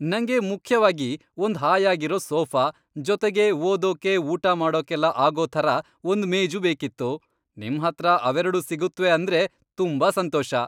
ನಂಗೆ ಮುಖ್ಯವಾಗಿ ಒಂದ್ ಹಾಯಾಗಿರೋ ಸೋಫಾ ಜೊತೆಗೆ ಓದೋಕೆ, ಊಟ ಮಾಡೋಕೆಲ್ಲ ಆಗೋ ಥರ ಒಂದ್ ಮೇಜು ಬೇಕಿತ್ತು. ನಿಮ್ಹತ್ರ ಅವೆರಡೂ ಸಿಗತ್ವೆ ಅಂದ್ರೆ ತುಂಬಾ ಸಂತೋಷ!